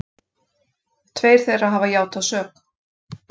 Tveir þeirra hafa játað sök